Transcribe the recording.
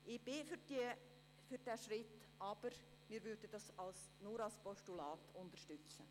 Ich bin für diesen Schritt, aber wir würden ihn nur als Postulat unterstützen.